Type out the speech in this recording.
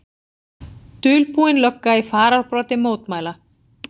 Dulbúin lögga í fararbroddi mótmæla